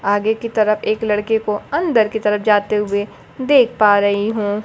आगे की तरफ एक लड़के को अंदर की तरफ जाते हुए देख पा रही हूं।